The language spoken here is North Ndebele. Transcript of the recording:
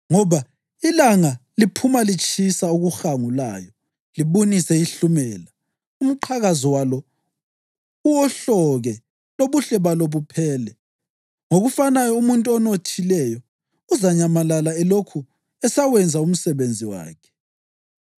Ngoba ilanga liphuma litshisa okuhangulayo libunise ihlumela, umqhakazo walo uwohloke lobuhle balo buphele. Ngokufanayo umuntu onothileyo uzanyamalala elokhu esawenza umsebenzi wakhe.